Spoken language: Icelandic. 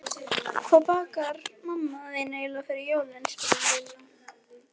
Hvað bakar mamma þín eiginlega fyrir jólin? spurði Lilla.